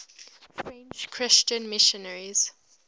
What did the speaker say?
french christian missionaries